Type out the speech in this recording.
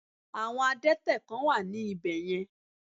Àwọn Adẹ́tẹ̀ kán wà ní ibè yen